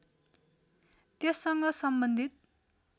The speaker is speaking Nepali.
त्यससँग सम्बन्धित